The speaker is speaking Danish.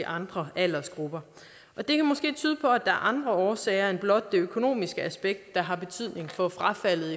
andre aldersgrupper det kan måske tyde på at der er andre årsager end blot det økonomiske aspekt der har betydning for frafaldet